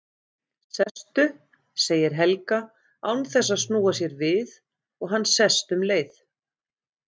Sestu, segir Helga, án þess að snúa sér við og hann sest um leið.